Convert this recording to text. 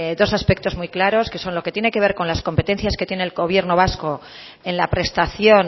dos aspectos muy claros que son lo que tiene que ver con las competencias que tiene el gobierno vasco en la prestación